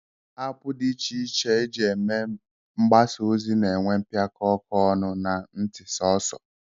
App dị iche iche e ji eme mgbasaozi na-enwe mpịaka ọkụ ọnụ na ntị sọọsọ